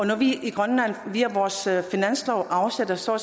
når vi i grønland via vores finanslov afsætter så